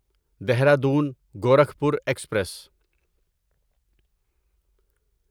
Dehradun Gorakhpur express